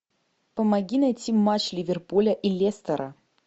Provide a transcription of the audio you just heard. помоги найти матч ливерпуля и лестера